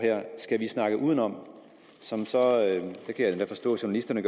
skal vi snakke udenom der kan jeg forstå at journalisterne